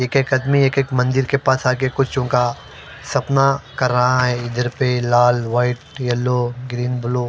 एक एक आदमी एक एक मंदिर के पास आके कुछ उनका सपना कर रहा है इधर पे लाल व्हाइट येलो ग्रीन ब्लू ।